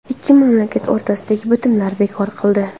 Ikki mamlakat o‘rtasidagi bitimni bekor qildi.